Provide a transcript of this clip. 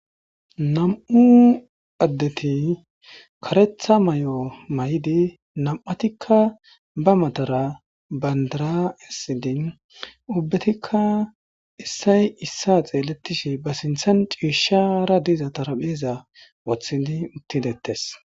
Nam'u adeti karetha mayo mayidi nam'atika ba matara bandira esidi ubetika issay issa xeletishe ba sintan c'ishara diza dharapheza wotidi utidetes.